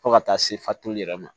Fo ka taa se fatuli yɛrɛ ma